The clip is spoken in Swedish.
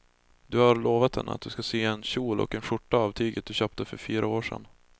Du har lovat henne att du ska sy en kjol och skjorta av tyget du köpte för fyra år sedan.